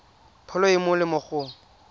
pholo e e molemo go